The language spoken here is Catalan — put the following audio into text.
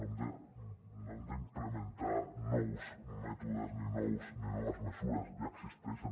no hem d’implementar nous mètodes ni noves mesures ja existeixen